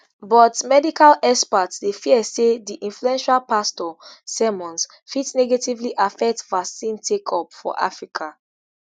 but medical experts dey fear say di influential pastor sermons fit negatively affect vaccine takeup for africa